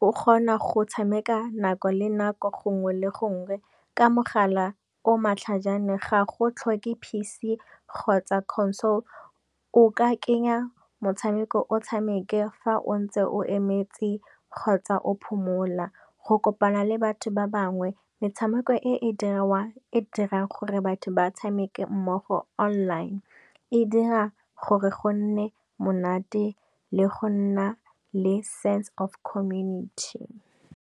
o kgona go tshameka nako le nako gongwe le gongwe ka mogala o matlhajana ga go tlhoke P_C kgotsa Console. O ka kenya motshameko o tshameke fa o ntse o emetse kgotsa o phomola go kopana le batho ba bangwe metshameko e dirang gore batho ba tshameke mmogo online e dira gore go nne monate le go nna le sense of community.